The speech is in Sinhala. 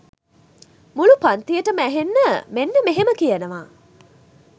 මුලු පන්තියටම ඇහෙන්න මෙන්න මෙහෙම කියනවා